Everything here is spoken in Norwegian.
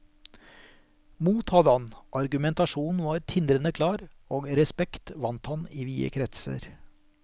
Mot hadde han, argumentasjonen var tindrende klar og respekt vant han i vide kretser.